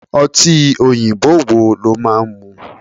Ọtí òyìnbó wo lo máa ń mu?